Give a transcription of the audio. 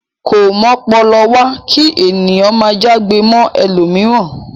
Ko m'ọ́pọlọwá ki ènìyàn máa já'gbe mọ ẹlomiran.